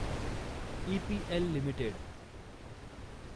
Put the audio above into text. EPL limited